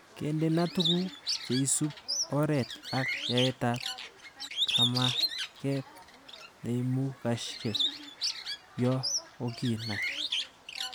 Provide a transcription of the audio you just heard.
Kendena tuguk cheisub oret ak yaetab kamaget neimugasheki yo kokinai